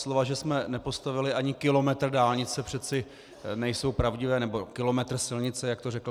Slova, že jsme nepostavili ani kilometr dálnice, přece nejsou pravdivá, nebo kilometr silnice, jak to řekl.